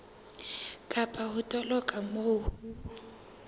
kapa ho toloka moo ho